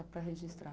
Só para registrar.